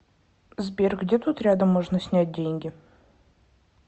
сбер где тут рядом можно снять деньги